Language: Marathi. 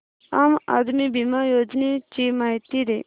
आम आदमी बिमा योजने ची माहिती दे